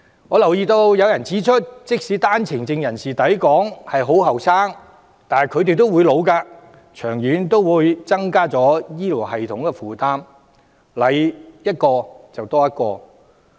我留意到有人指出，即使單程證人士抵港時很年輕，但他們也會年老和生病，長遠也會增加醫療系統的負擔，多來一個人負擔便會加重。